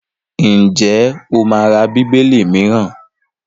Ǹjẹ́ o máa ra Bíbélì mìíràn?